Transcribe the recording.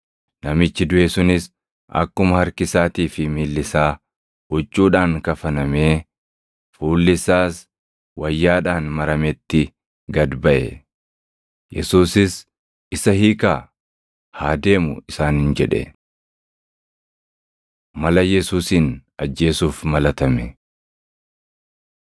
Namichi duʼe sunis akkuma harki isaatii fi miilli isaa huccuudhaan kafanamee, fuulli isaas wayyaadhaan marametti gad baʼe. Yesuusis, “Isa hiikaa, haa deemu” isaaniin jedhe. Mala Yesuusin Ajjeesuuf Malatame